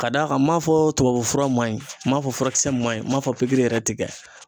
Ka d'a kan n m'a fɔ tubabu fura ma ɲi ,n ma fɔ furakisɛ ma ɲi ,n ma fɔ pikiri yɛrɛ ti kɛ